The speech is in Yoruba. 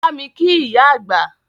Bámi kí ìyá àgbà!